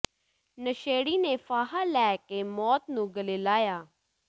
ਨਸ਼ੇੜੀ ਨੇ ਫਾਹਾ ਲੈ ਕੇ ਮੌਤ ਨੂੰ ਗਲ਼ੇ ਲਾਇਆ